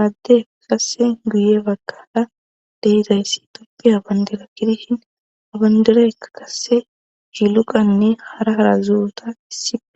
aadde kasse guye bagkada dehidayssi toppiya bandira kidishin abandiraya kasse jiluqanne hara harazuota issipe.